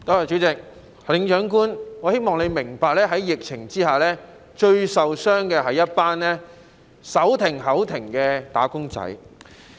主席，行政長官，我希望你明白，在疫情之下，最受傷的是一群手停口停的"打工仔"。